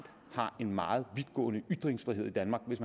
har en meget vidtgående ytringsfrihed i danmark